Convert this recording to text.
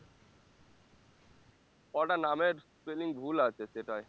কটা নামের spelling ভুল আছে সেটাই